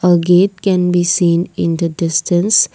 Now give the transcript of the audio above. a gate can be seen in the distance.